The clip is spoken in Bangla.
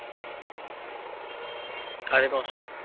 সাড়ে দশটা।